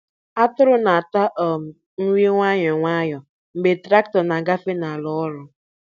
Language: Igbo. Atụrụ na-ata um nri nwayọ nwayọ mgbe traktọ na-agafe n'ala ọrụ.